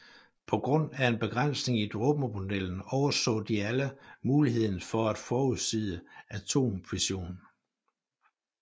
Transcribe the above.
På grund af en begrænsning i dråbemodellen overså de alle muligheden for at forudsige atomfission